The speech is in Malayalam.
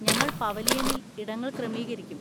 ഞങ്ങൾ പവലിയനിൽ ഇടങ്ങൾ ക്രമീകരിക്കും.